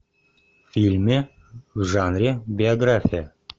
фильме в жанре биография